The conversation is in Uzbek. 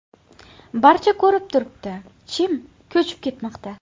Barcha ko‘rib turibdi chim ko‘chiib ketmoqda.